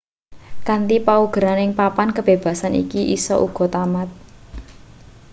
kanthi paugeran ing papan kebebasan iki isa uga tamat